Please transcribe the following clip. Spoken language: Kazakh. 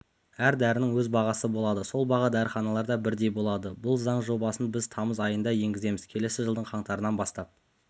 әр дәрінің өз бағасы болады сол баға дәріханаларда бірдей болады бұл заң жобасын біз тамыз айында енгіземіз келесі жылдың қаңтарынан бастап